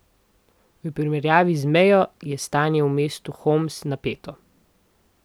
V primerjavi z mejo je stanje v mestu Homs napeto.